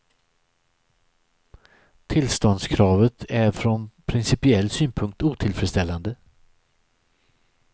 Tillståndskravet är från principiell synpunkt otillfredsställande.